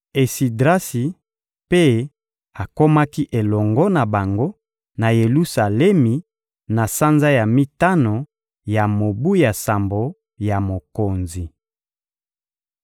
Esidrasi mpe akomaki elongo na bango na Yelusalemi na sanza ya mitano ya mobu ya sambo ya mokonzi.